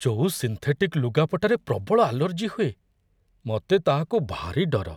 ଯୋଉ ସିନ୍ଥେଟିକ୍ ଲୁଗାପଟାରେ ପ୍ରବଳ ଆଲର୍ଜି ହୁଏ, ମତେ ତାହାକୁ ଭାରି ଡର ।